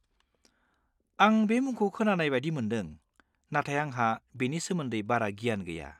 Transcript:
आं बे मुंखौ खोनानाय बायदि मोनदों, नाथाय आंहा बेनि सोमोन्दै बारा गियान गैया।